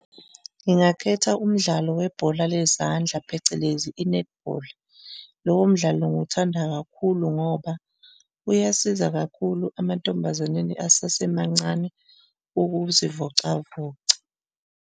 Ngingakhetha umdlalo webhola lezandla phecelezi i-netball. Lowo mdlalo ngiwuthanda kakhulu ngoba, uyasiza kakhulu amantombazaneni asasemancane ukuzivocavoca.